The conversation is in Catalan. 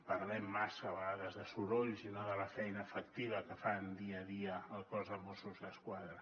parlem massa a vegades de sorolls i no de la feina efectiva que fan dia a dia el cos de mossos d’esquadra